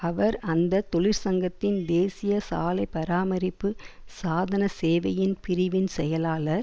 அவர் அந்த தொழிற்சங்கத்தின் தேசிய சாலை பராமரிப்பு சாதன சேவையின் பிரிவின் செயலாளர்